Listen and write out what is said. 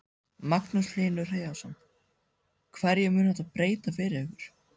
Magnús Hlynur Hreiðarsson: Hverju mun þetta breyta fyrir ykkur?